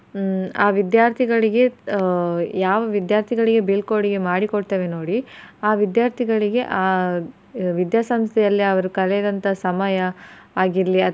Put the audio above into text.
ಹ್ಮ್ ಆ ವಿದ್ಯಾರ್ಥಿಗಳಿಗೆ ಆಹ್ ಯಾವ ವಿದ್ಯಾರ್ಥಿಗಳಿಗೆ ಬೀಳ್ಕೊಡುಗೆ ಮಾಡಿಕೊಡ್ತೇವೆ ನೋಡಿ ಆ ವಿದ್ಯಾರ್ಥಿಗಳಿಗೆ ಆ ವಿದ್ಯಾಸಂಸ್ಥೆಯಲ್ಲಿ ಅವರು ಕಳೆದಂತ ಸಮಯ ಆಗಿರ್ಲಿ.